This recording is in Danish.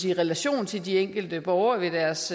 en relation til de enkelte borgere ved deres